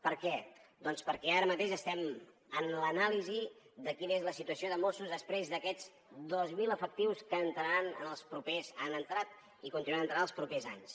per què doncs perquè ara mateix estem en l’anàlisi de quina és la situació de mossos després d’aquests dos mil efectius que han entrat i continuaran entrant els propers anys